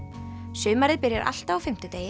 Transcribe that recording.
sumarið byrjar alltaf á fimmtudegi